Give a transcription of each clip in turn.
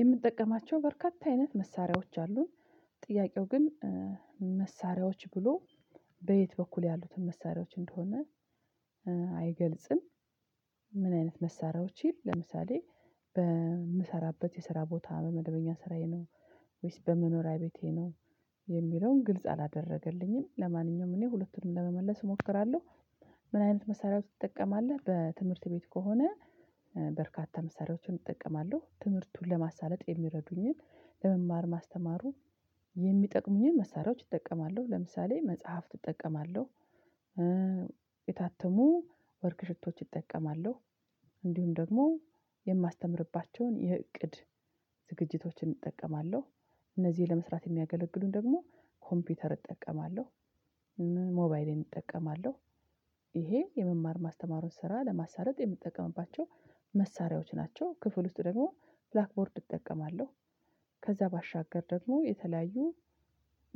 የምጠቀማቸው በርካታ አይነት መሳሪያዎች አሉን ጥያቄው ግን መሳሪያዎች ብሎ በየት በኩል ያሉትን መሳሪያዎች እንደሆነ አይገልጽም። ምን አይነት መሳሪያዎችን ለምሳሌ በምሰራበት የስራ ቦታ በመደበኛ ስራዬ ነው ወይስ በመኖሪያ ቤቴ ነው የሚለውን ግልጽ አላደረገልኝም ለማንኛውም እኔ ሁለቱንም ለመመለስ እሞክራለሁ። ምን አይነት መሳሪያዎች ትጠቀማለህ? በትምህርት ቤት ከሆነ በርካታ መሳሪያዎችን እጠቀማለሁ ትምህርቱን ለማሳለጥ የሚረዱኝን ለመማር ማስተማሩ የሚጠቅሙኝን መሳሪያዎች እጠቀማለሁ ለምሳሌ መጽሐፍት እጠቀማለሁ። የታተሙ ወርክ ሽቶች እጠቀማለሁ። እንዲሁም ደግሞ የማስተምርባቸውን የእቅድ ዝግጅቶችን እጠቀማለሁ እነዚህ ለመስራት የሚያገለግሉን ደግሞ ኮምፒውተር እጠቀማለሁ። ሞባይሌን እጠቀማለሁ። የመማር ማስተማሩን ስራ ለማሳለጥ የምጠቀምባቸው መሳሪያዎች ናቸው ክፍል ውስጥ ደግሞ ብላክ ቦርድ እጠቀማለሁ። ከዛ ባሻገር ደግሞ የተለያዩ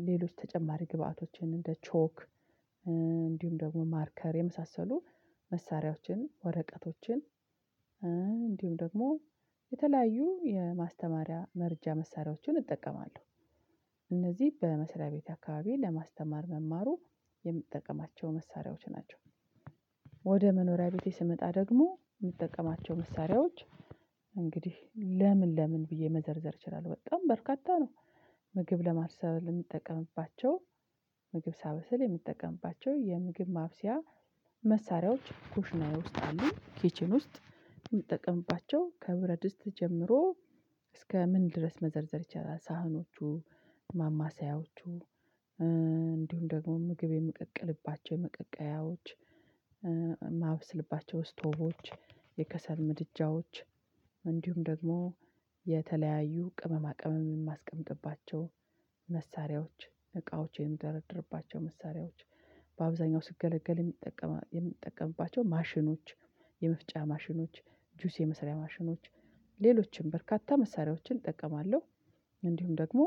ሌሎች ተጨማሪ ግብአቶችን እንደ ቾክ እንዲሁም ደግሞ ማርከር የመሳሰሉ መሳሪያዎችን ወረቀቶችን እንዲሁም ደግሞ የተለያዩ የማስተማሪያ መረጃ መሳሪያዎችን እጠቀማለሁ። እነዚህ በመስሪያ ቤቴ አካባቢ ለማስተማር መማሩ የምጠቀማቸው መሳሪያዎች ናቸው። ወደ መኖሪያ ቤቴ ስመጣ ደግሞ ምጠቀማቸው መሳሪያዎች እንግዲህ ለምን ለምን ብዬ መዘርዘር እችላለሁ በጣም በርካታ ነው። ምግብ ለማብሰል ለምጠቀምባቸው ምግብ ሳበስል የምጠቀምባቸው የምግብ ማብሰያ መሳሪያዎች ኩሽናዬ ውስጥ አሉ ኪችን ውስጥ ምጠቀምባቸው ከብረድስት ጀምሮ እስከ ምን ድረስ መዘርዘር ይቻላል? ሳህኖቹ ማማሰያዎቹ እንዲሁም ደግሞ ምግብ የምቀቅልባቸው መቀቀያዎች ማብስልባቸው ስቶቦች የከሰል ምድጃዎች እንዲሁም ደግሞ የተለያዩ ቅመማ ቅመም ማስቀምጥባቸው መሳሪያዎች እቃዎች የምደረድርባቸው መሳሪያዎች በአብዛኛው ስገለገል የሚጠቀም የምጠቀምባቸው ማሽኖች የመፍጫ ማሽኖች ጁስ የመሰሪያ ማሽኖች ሌሎችንም በርካታ መሳሪያዎችን እጠቀማለሁ። እንዲሁም ደግሞ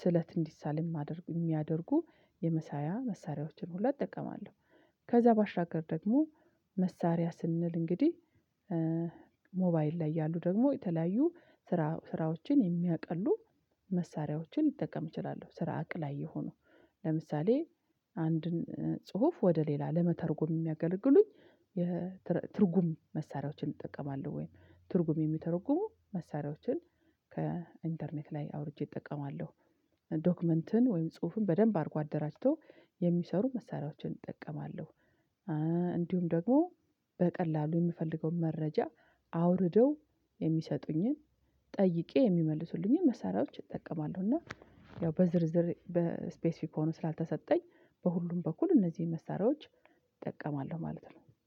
ስለት እንዲሳል ማደርጉ የሚያደርጉ የመሳያ መሳሪያዎችን ሁላ እጠቀማለሁ። ከዛ ባሻገር ደግሞ መሳሪያ ስንል እንግዲህ ሞባይል ላይ ያሉ ደግሞ የተለያዩ ስራ ስራዎችን የሚያቀሉ መሳሪያዎችን ሊጠቀም ይችላሉ። ስራ አቅላይ የሆኑ ለምሳሌ አንድን ጽሁፍ ወደ ሌላ ለመተርጎም የሚያገለግሉኝ የትርጉም መሳሪያዎችን እጠቀማለሁ። ወይ ትርጉም የሚተረጉሙ መሳሪያዎችን ከኢንተርኔት ላይ አውርጄ እጠቀማለሁ። ዶክመንትን ወይም ጽሁፍን በደንብ አድርጎ አደራጅቶ የሚሰሩ መሳሪያዎችን እጠቀማለሁ። ደግሞ በቀላሉ ምፈልገውን መረጃ አውርደው የሚሰጡኝን ጠይቄ የሚመልሱልኝን መሳሪያዎች እጠቀማለሁ። እና ያው በዝርዝር በስፔሲፊክ ሆኖ ስላልተሰጠኝ በሁሉም በኩል እነዚህን መሳሪያዎች እጠቀማለሁ ማለት ነው።